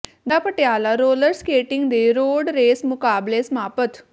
ਜ਼ਿਲ੍ਹਾ Patiala roller skating ਦੇ road race ਮੁਕਾਬਲੇ ਸਮਾਪਤ